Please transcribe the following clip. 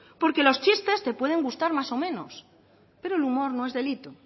porque los chistes te pueden gustar más o menos pero el humor no es delito